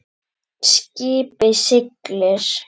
Skipið siglir.